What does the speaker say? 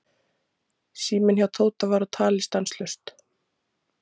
Síminn hjá Tóta var á tali stanslaust.